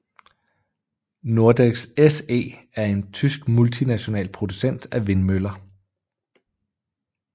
Nordex SE er en tysk multinational producent af vindmøller